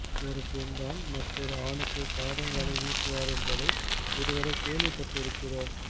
ஒரு பெண் தான் மற்றொரு ஆணுக்கு காதல் வலை வீசுவார் என்பதை இதுவரை கேள்விப் பட்டிருக்கிறோம்